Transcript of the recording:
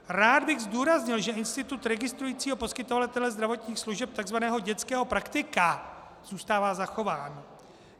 Rád bych zdůraznil, že institut registrujícího poskytovatele zdravotních služeb, tzv. dětského praktika, zůstává zachován.